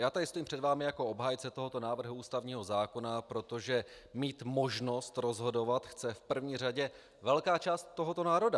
Já tady stojím před vámi jako obhájce tohoto návrhu ústavního zákona, protože mít možnost rozhodovat chce v první řadě velká část tohoto národa.